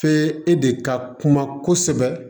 e de ka kuma kosɛbɛ